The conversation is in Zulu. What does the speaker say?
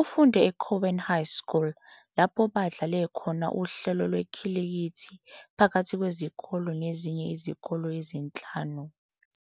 Ufunde eCowan High School, lapho badlale khona uhlelo lwekhilikithi phakathi kwezikole nezinye izikole ezinhlanu.